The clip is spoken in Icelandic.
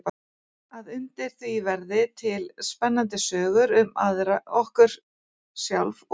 Að undir því verði til spennandi sögur um okkur sjálf og aðra.